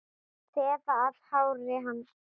Þefa af hári hans.